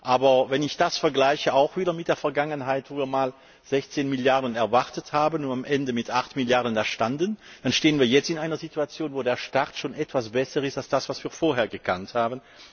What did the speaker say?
Aber, wenn ich das auch wieder mit der Vergangenheit vergleiche, als wir einmal 16 Milliarden erwartet haben und am Ende mit 8 Milliarden dastanden, dann sind wir jetzt in einer Situation, wo der Start schon etwas besser ist als das, was wir vorher gekannt haben.